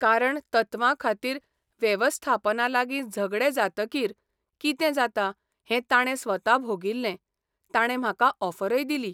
कारण तत्वांखातीर वेवस्थापनालागीं झगडें जातकीर कितें जाता हैं ताणे स्वता भोगिल्ले ताणे म्हाका ऑफरय दिली.